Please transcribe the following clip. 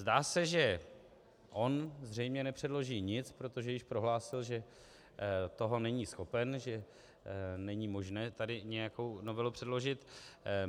Zdá se, že on zřejmě nepředloží nic, protože již prohlásil, že toho není schopen, že není možné tady nějakou novelu předložit.